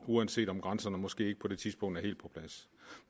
uanset om grænserne måske ikke på det tidspunkt